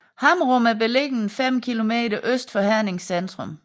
Hammerum er beliggende 5 kilometer øst for Hernings centrum